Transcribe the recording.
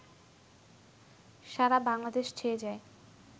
সারা বাংলাদেশ ছেয়ে যায়